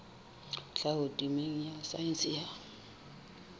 tlhaho temeng ya saense ya